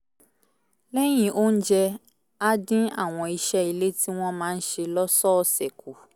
lẹ́yìn oúnjẹ á dín àwọn iṣẹ́ ilé tí wọ́n máa ń ṣe lọ́sọ̀ọ̀sẹ̀ kù